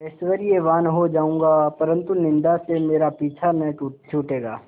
ऐश्वर्यवान् हो जाऊँगा परन्तु निन्दा से मेरा पीछा न छूटेगा